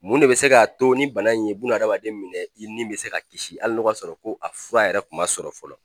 Mun de be se k'a to ni bana in ye buna adamaden minɛ i nin be se ka kisi ala n'o ka sɔrɔ ko a fura yɛrɛ kun ma sɔrɔ fɔlɔ